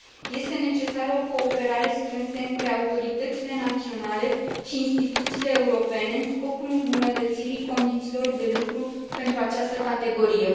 Este necesară o cooperare strânsă între autoritățile naționale și instituțiile europene, în scopul îmbunătățirii condițiilor de lucru pentru această categorie.